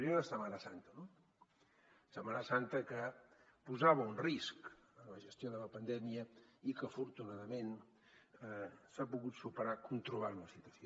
primer la setmana santa no la setmana santa que posava un risc en la gestió de la pandèmia i que afortunadament s’ha pogut superar controlant la situació